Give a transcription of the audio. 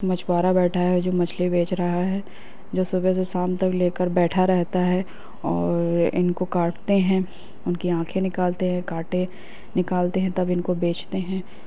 मछ्वारा बैठा है जो मछली बेच रहा है जो सुबह से शाम तक लेकर बेठा रहता है और इनको काटते हैं उनकी आँखे निकालते हैं कांटे निकालते हैं तब इनको बेचते हैं।